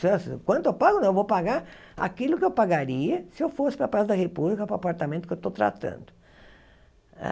quanto eu pago não, eu vou pagar aquilo que eu pagaria se eu fosse para Praça da República, para o apartamento que eu estou tratando.